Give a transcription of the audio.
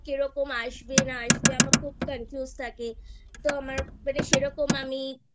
তো কিরকম আসবে না আসবে আমি খুব Confuse থাকি তো আমার মানে সেরকম আমি